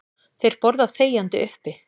Þeir borða þegjandi uppi.